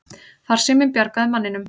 Farsíminn bjargaði manninum